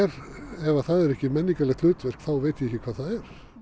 ef það er ekki menningarlegt hlutverk þá veit ég ekki hvað það er